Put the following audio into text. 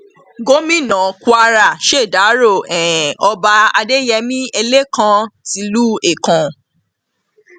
gomina kwara ṣèdàrọ um ọba adéyẹmi ẹlẹkan tìlú ẹkàn